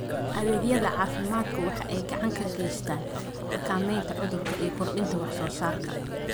Adeegyada caafimaadku waxa ay gacan ka geystaan ??xakamaynta cudurka iyo kordhinta wax soo saarka.